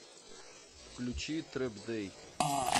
включи трэп дэй